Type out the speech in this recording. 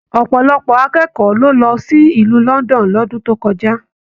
Ọpọlọpọ akẹkọọ lo lọ sílù London l'ọdun to kọjá.